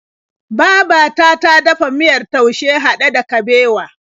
Babata ta dafa miyar taushe haɗe da kabewa.